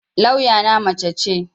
Lawya na mace ce